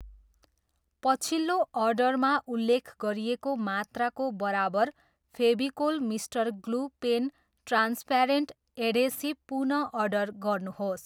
पछिल्लो अर्डरमा उल्लेख गरिएको मात्राको बराबर Fevicol mister glue pen transparent adhesive पुन अर्डर गर्नुहोस्।